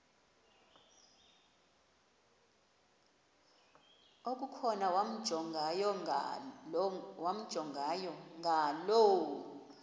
okukhona wamjongay ngaloo